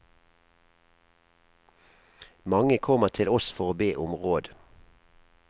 Mange kommer til oss for å be om råd.